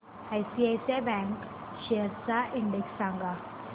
ICICI bank shares चा index सांगा